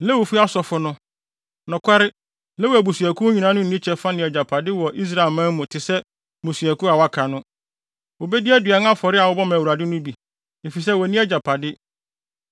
Lewifo Asɔfo no, nokware Lewi abusuakuw nyinaa no, nni kyɛfa ne agyapade biara wɔ Israelman mu te sɛ mmusuakuw a wɔaka no. Wobedi aduan afɔre a wɔbɔ ma Awurade no bi, efisɛ wonni agyapade.